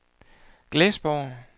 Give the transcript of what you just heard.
Glesborg